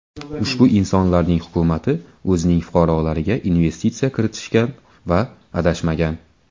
Ushbu insonlarning hukumati o‘zining fuqarolariga investitsiya kiritishgan va adashmagan.